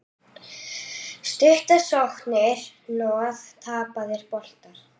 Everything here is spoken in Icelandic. Stuttar sóknir, hnoð, tapaðir boltar.